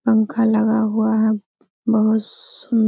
पंखा लगा हुआ है बहुत सु --